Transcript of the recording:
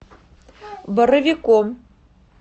боровиком